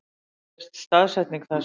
Hér sést staðsetning þess.